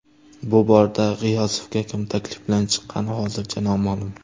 Bu borada G‘iyosovga kim taklif bilan chiqqani hozircha noma’lum.